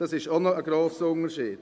Das ist auch ein grosser Unterschied.